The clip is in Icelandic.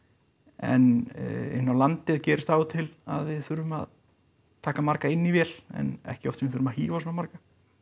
en inni á landi gerist það af og til að við þurfum að taka marga inn í vél en ekki oft sem við þurfum að hífa svona marga